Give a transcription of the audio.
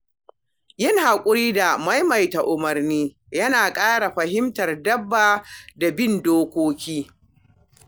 Yin hakuri da maimaita umarni yana kara fahimtar dabba da bin dokokinta.